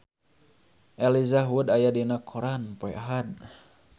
Elijah Wood aya dina koran poe Ahad